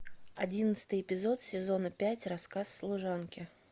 одиннадцатый эпизод сезона пять рассказ служанки